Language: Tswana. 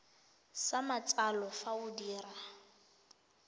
sa matsalo fa o dira